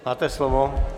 Máte slovo.